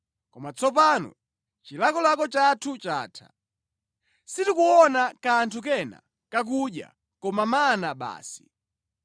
Koma tsopano chilakolako chathu chatha. Sitikuona kanthu kena kakudya koma mana basi!”